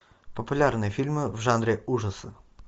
популярные фильмы в жанре ужасы